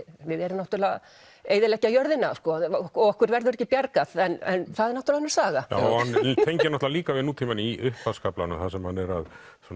við erum náttúrulega að eyðileggja jörðina og okkur verður ekki bjargað en það er náttúrulega önnur saga hann tengir náttúrulega líka við nútímann í upphafskaflanum þar sem hann er að